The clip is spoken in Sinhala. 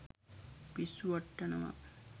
පිස්සු වට්ටවනවා.